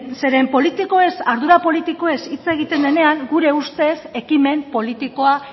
zeren ardura politikoez hiz egiten denean gure ustez ekimen politikoa